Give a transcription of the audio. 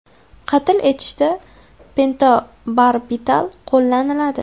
Qatl etishda pentobarbital qo‘llaniladi.